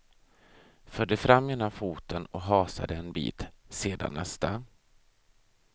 Förde fram ena foten och hasade en bit, sedan nästa.